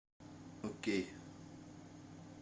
окей